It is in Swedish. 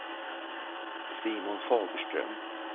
Simon Fagerström